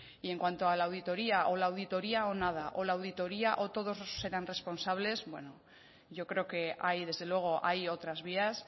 y en cuanto a la auditoría o la auditoria o nada o la auditoría o todos serán responsables bueno yo creo que ahí desde luego hay otras vías